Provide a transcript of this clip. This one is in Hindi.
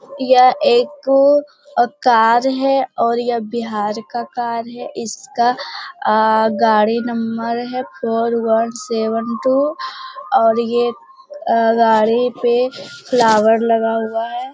यह एक कार है और यह बिहार का कार है इसका गाड़ी number four one seven two और यह गाड़ी पर फ्लावर लगा हुआ है।